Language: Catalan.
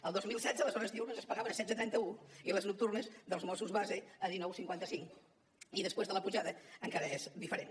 el dos mil setze les hores diürnes es pagaven a setze coma trenta un i les nocturnes dels mossos base a dinou coma cinquanta cinc i després de la pujada encara és diferent